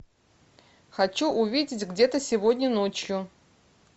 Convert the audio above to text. хочу увидеть где то сегодня ночью